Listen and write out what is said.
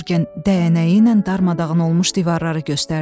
Yurgen dəyənəyi ilə darmadağın olmuş divarları göstərdi.